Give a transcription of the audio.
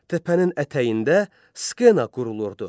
Təpənin ətəyində skena qurulurdu.